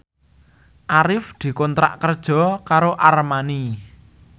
Arif dikontrak kerja karo Armani